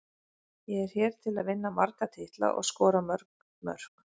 Ég er hér til að vinna marga titla og skora mörg mörk.